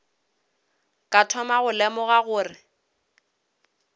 ka thoma go lemoga gore